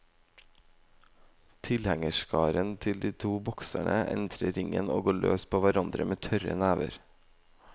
Tilhengerskarene til de to bokserne entrer ringen og går løs på hverandre med tørre never.